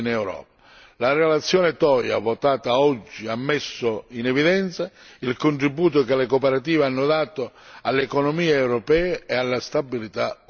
La relazione Toia votata oggi ha messo in evidenza il contributo che le cooperative hanno dato alle economie europee ed alla stabilità occupazionale.